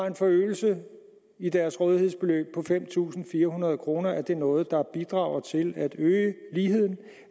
en forøgelse af deres rådighedsbeløb på fem tusind fire hundrede kroner er det noget der bidrager til at øge ligheden